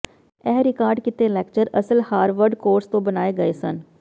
ਇਹ ਰਿਕਾਰਡ ਕੀਤੇ ਲੈਕਚਰ ਅਸਲ ਹਾਰਵਰਡ ਕੋਰਸ ਤੋਂ ਬਣਾਏ ਗਏ ਸਨ